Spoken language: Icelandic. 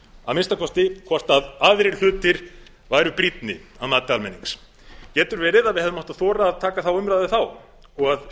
að minnsta kosti hvort aðrir hlutir væru brýnni að mati almennings getur verið að við hefðum átt að þora að taka þá umræðu þá og að